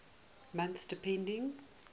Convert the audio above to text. months depending